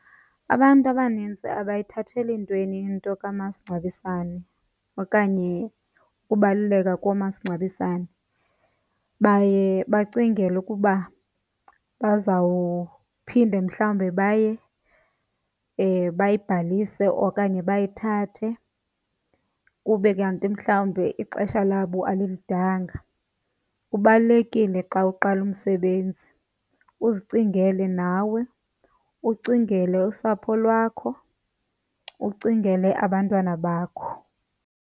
Abantu abanintsi abayithatheli ntweni into kamasingcwabisane okanye ukubaluleka komasingcwabisane. Baye bacingele ukuba bazawuphinde mhlawumbe bayibhalise okanye bayithathe kube kanti mhlawumbi ixesha labo alilidanga. Kubalulekile xa uqala umsebenzi uzicingele nawe, ucingele usapho lwakho, ucingele abantwana bakho.